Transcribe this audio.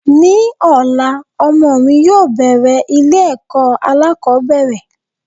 Ní ọ̀la, ọmọ mi yóò bẹ̀rẹ̀ ilé ẹ̀kọ́ alákòbẹ̀rẹ̀.